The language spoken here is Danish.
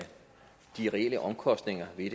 de reelle omkostninger ved